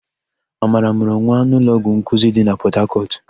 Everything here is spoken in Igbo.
Amara mụrụ nwa n'ụlọọgwụ nkuzi dị na Pọtakọtụ.